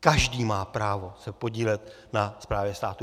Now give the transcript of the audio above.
Každý má právo se podílet na správě státu.